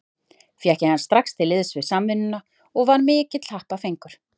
Fékk ég hann strax til liðs við Samvinnuna og var mikill happafengur.